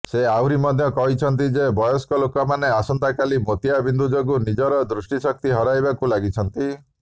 ସେ ଆହୁରି ମଧ୍ୟ କହିଛନ୍ତି ଯେ ବୟସ୍କ ଲୋକମାନେ ଆଜିକାଲି ମୋତିଆବିନ୍ଦୁ ଯୋଗୁଁ ନିଜର ଦୃଷ୍ଟିଶକ୍ତି ହରାଇବାକୁ ଲାଗିଛନ୍ତି